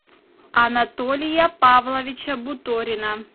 анатолия павловича буторина